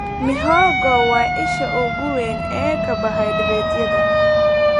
Mihogo waa isha ugu weyn ee karbohaydraytyada.